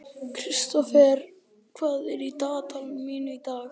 Kristófer, hvað er í dagatalinu mínu í dag?